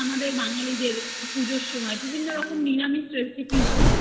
পুজোর সময় বিভিন্ন বাঙালি রকমের নিরামিষ recipe তৈরী হয় তুমি